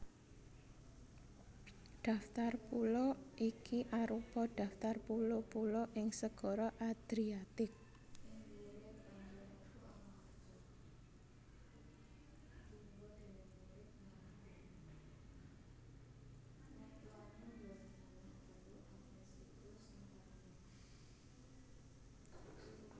Daftar pulo iki arupa daftar pulo pulo ing Segara Adriatik